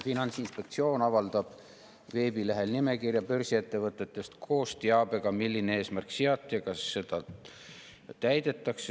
Finantsinspektsioon avaldab veebilehel nimekirja börsiettevõtetest koos teabega, milline eesmärk seati ja kas seda eesmärki täidetakse.